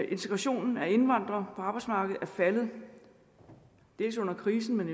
integrationen af indvandrere på arbejdsmarkedet er faldet dels under krisen men